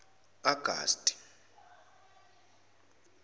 augusti